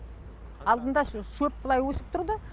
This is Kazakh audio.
алдында шөп былай өсіп тұрды